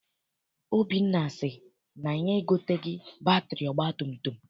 Obinna sị na ya egoteghị batịrị ọgbatumtum.